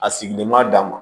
A sigilen b'a dama